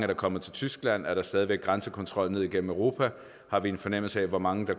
der kommet til tyskland er der stadig væk grænsekontrol ned igennem europa har vi en fornemmelse af hvor mange